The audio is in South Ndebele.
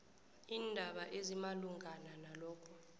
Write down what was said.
iindaba ezimalungana nalokho